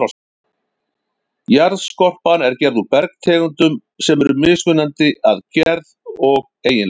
Jarðskorpan er gerð úr bergtegundum sem eru mismunandi að gerð og eiginleikum.